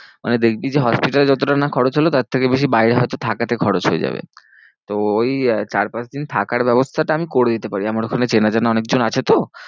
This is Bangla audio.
মানে দেখবি যে hospital এ যতটা না খরচ হলো তার থেকে বেশি বাইরে হয় তো থাকতে খরচ হয়ে যাবে। তো ওই চার পাঁচ দিন থাকার ব্যবস্থাটা আমি করে দিতে পারি আমার ওখানে চেনা জানা অনেক জন আছে তো।